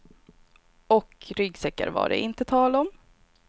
Och ryggsäckar var det inte tal om.